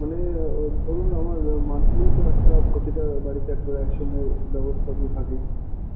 মানে ধরুন আমার monthly তো একটা প্রতিটা বাড়িতে একটা একসঙ্গে ব্যবস্থা তো থাকেই।